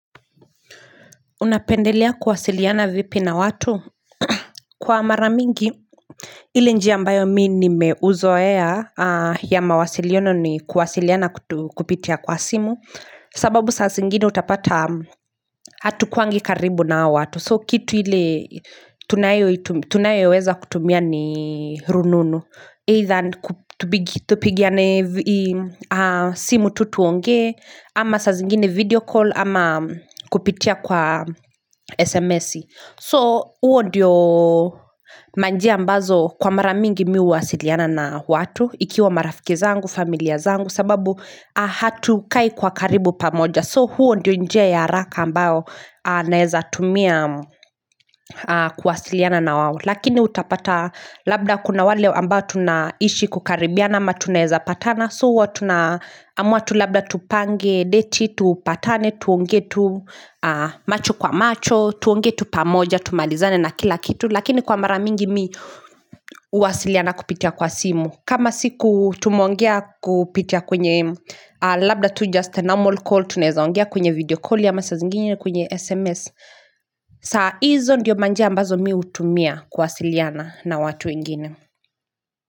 Unapendelea kuwasiliana vipi na watu? Kwa mara mingi, ile njia ambayo mimi nimeuzoea ya mawasiliono ni kuwasiliana kupitia kwa simu, sababu saa zingine utapata hatukuangi karibu na hao watu. So kitu ile tunayoweza kutumia ni rununu Either tupigiane simu tu tuongee ama sa zingine video call ama kupitia kwa sms So huo ndio manjia ambazo kwa mara mingi mimi huwasiliana na watu Ikiwa marafiki zangu, familia zangu sababu hatukai kwa karibu pamoja So huo ndio njia ya haraka ambao naeza tumia kuwasiliana na wao Lakini utapata labda kuna wale ambayo tunaishi kukaribiana ama tunaeza patana So huo tuna7amua tu labda tupange, deti, tupatane, tuongee tu macho kwa macho tuongee tu pamoja, tumalizane na kila kitu Lakini kwa mara mingi mimi huwasiliana kupitia kwa simu kama siku tumeongea kupitia kwenye labda to just a normal call Tunaeza ongea kwenye video call ama saa zingine kwenye SMS Sa hizo ndiyo manjia ambazo mimi hutumia kuwasiliana na watu wengine.